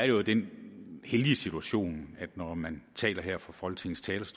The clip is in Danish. jo i den heldige situation at når man taler her fra folketingets